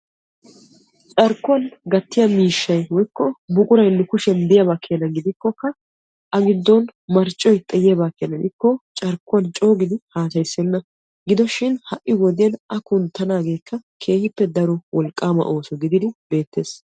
Carkkuwaan gattiyaa miishshay woykko buquray nu kushiyaan diyaaba keena gidikokka a giddon marccoy xayiyaaba gidikko carkkuwaan coogidi haasayissenna. gidoshini a kunttanaagekka keehippe daro wolqqaama ooso gididi beettees.